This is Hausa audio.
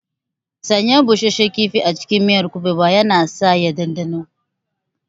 Sanya busasshen kifi a cikin miyar kuɓewa yana sa ya ɗanɗano,